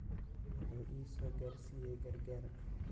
Wuhu ii soo gaarsiyay gargaar.